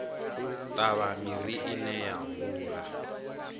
ṱavha miri ine ya hula